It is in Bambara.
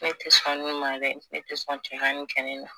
Ne te sɔn ni ma dɛ ne te sɔn cɛ ka nin kɛ ne na